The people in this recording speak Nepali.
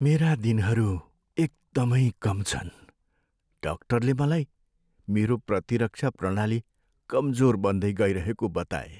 मेरा दिनहरू एकदमै कम छन्। डाक्टरले मलाई मेरो प्रतिरक्षा प्रणाली कमजोर बन्दै गइरहेको बताए।